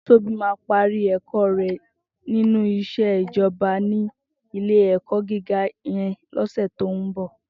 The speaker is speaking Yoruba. Tobi má pàrí èkò rè ninú iṣé ijòbá ni ilé èkò gigá yèn lòsè tó n bò